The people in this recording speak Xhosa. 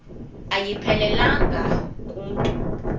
ayiphelelanga ku mntu